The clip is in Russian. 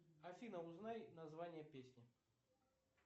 афина узнай название песни